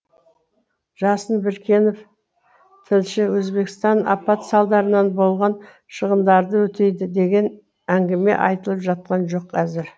жасын біркенов тілші өзбекстан апат салдарынан болған шығындарды өтейді деген әңгіме айтылып жатқан жоқ әзір